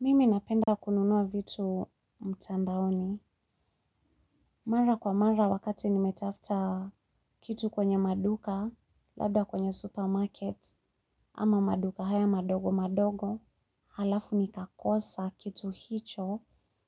Mimi napenda kununua vitu mtandaoni. Mara kwa mara wakati nimetafta kitu kwenye maduka, labda kwenye supermarket ama maduka haya madogo madogo. Halafu nikakosa kitu hicho.